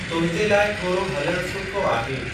तुंहिंजे लाइ थोरो हलणु चलणु सुठो आहे।